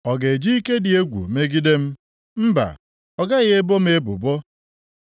Ọ ga-eji ike dị egwu megide m? Mba, ọ gaghị ebo m ebubo.